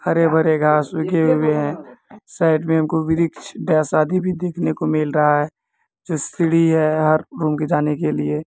हरे-भरे घास उगे हुए है साइड मे एगो वृक्ष डेस आदि भी देखने को मिल रहा है जो सीढ़ी है हर रूम जाने के लिए।